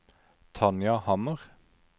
Tanja Hammer